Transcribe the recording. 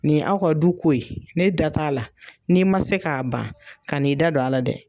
Nin ye aw ka du ko ye ne da t'a la n'i man se k'a ban ka n'i da don a la dɛ.